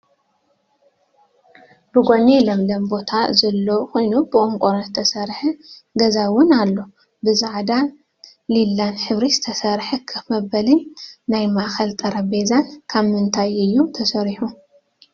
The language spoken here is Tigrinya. ብጎኒ ለምለም ቦታ ዘሎ ኮይኑ ብቆርቆሮ ዝተረሰሐ ገዛን ዝውን ኣሎ። ብፃዕዳን ሊላን ሕብሪ ዝተሰረሐ ከፍ መበሊን ናይ ማእከል ጠረጴዛን ካብ ምንታይ እዩ ተሰሪሑ?